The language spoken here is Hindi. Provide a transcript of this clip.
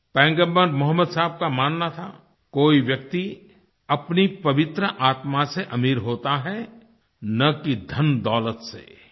पैगम्बर मोहम्मद साहब का मानना था कोई व्यक्ति अपनी पवित्र आत्मा से अमीर होता है न कि धनदौलत से